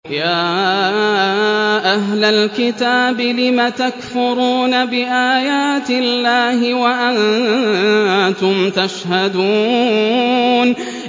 يَا أَهْلَ الْكِتَابِ لِمَ تَكْفُرُونَ بِآيَاتِ اللَّهِ وَأَنتُمْ تَشْهَدُونَ